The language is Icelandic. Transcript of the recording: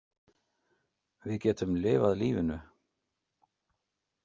Við getum lifað lífinu.